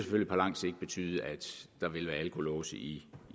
betyde at der vil være alkolåse i